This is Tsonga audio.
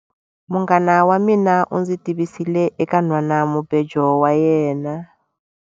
Munghana wa mina u ndzi tivisile eka nhwanamubejo wa yena.